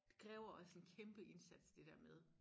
Det kræver også en kæmpe indsats det dér med